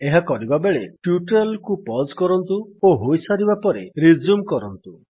ଏହା କରିବାବେଳେ ଟ୍ୟୁଟୋରିଆଲ୍ କୁ ପଜ୍ କରନ୍ତୁ ଓ ହୋଇସାରିବା ପରେ ରିଜ୍ୟୁମ୍ କରନ୍ତୁ